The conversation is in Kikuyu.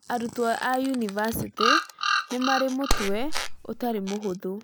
Arutwo a yunivasĩtĩ nĩ mari mutwe utari muhuthu